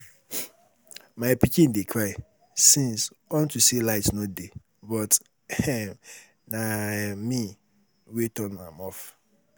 My pikin dey cry since unto say light no dey but um na um me wey turn am off